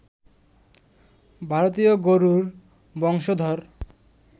ভারতীয় গরুর বংশধর